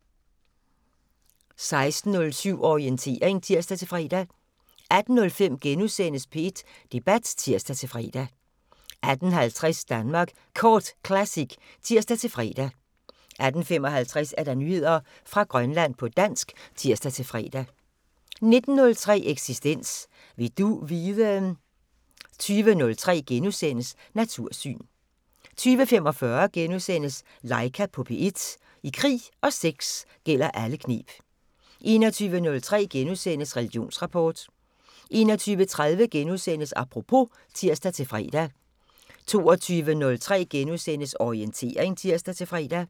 16:07: Orientering (tir-fre) 18:05: P1 Debat *(tir-fre) 18:50: Danmark Kort Classic (tir-fre) 18:55: Nyheder fra Grønland på dansk (tir-fre) 19:03: Eksistens: Vil du vide...? 20:03: Natursyn * 20:45: Laika på P1 – I krig og sex gælder alle kneb * 21:03: Religionsrapport * 21:30: Apropos *(tir-fre) 22:03: Orientering *(tir-fre)